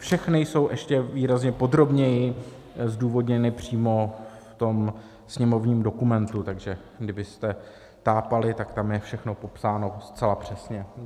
Všechny jsou ještě výrazně podrobněji zdůvodněny přímo v tom sněmovním dokumentu, takže kdybyste tápali, tak tam je všechno popsáno zcela přesně.